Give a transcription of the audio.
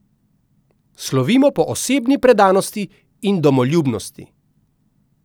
Slovimo po osebni predanosti in domoljubnosti.